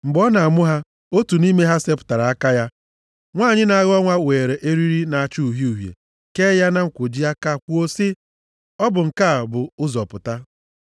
Mgbe ọ na-amụ ha, otu nʼime ha sepụtara aka ya. Nwanyị na-aghọ nwa weere eriri na-acha uhie uhie kee ya na nkwoji aka kwuo sị, “Ọ bụ nke a bụ ụzọ pụta.”